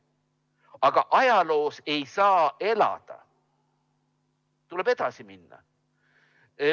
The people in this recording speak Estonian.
Aga ajaloos ei saa elada, tuleb edasi minna.